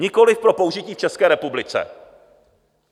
Nikoliv pro použití v České republice.